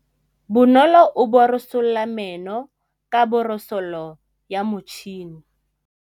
Bonolô o borosola meno ka borosolo ya motšhine.